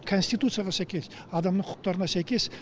конституцияға сәйкес адамның құқықтарына сәйкес